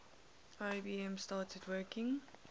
ibm started working